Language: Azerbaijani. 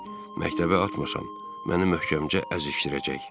Məktəbə atməsam, məni möhkəmcə əzişdirəcək.